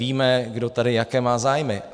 Víme, kdo tady jaké má zájmy.